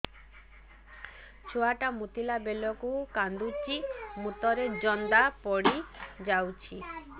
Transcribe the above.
ଛୁଆ ଟା ମୁତିଲା ବେଳକୁ କାନ୍ଦୁଚି ମୁତ ରେ ଜନ୍ଦା ପଡ଼ି ଯାଉଛି